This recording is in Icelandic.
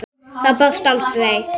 Það brást aldrei.